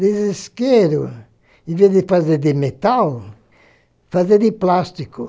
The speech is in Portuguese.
De isqueiro, em vez de fazer de metal, fazer de plástico.